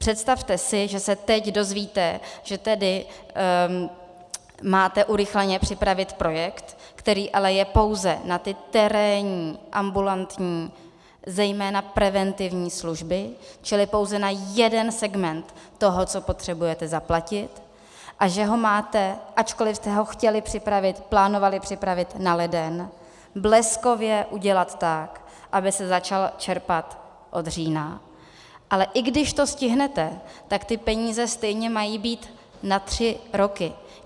Představte si, že se teď dozvíte, že tedy máte urychleně připravit projekt, který ale je pouze na ty terénní ambulantní, zejména preventivní služby, čili pouze na jeden segment toho, co potřebujete zaplatit, a že ho máte, ačkoliv jste ho chtěli připravit, plánovali připravit na leden, bleskově udělat tak, aby se začalo čerpat od října, ale i když to stihnete, tak ty peníze stejně mají být na tři roky.